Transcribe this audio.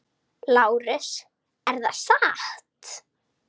LÁRUS: Er það satt?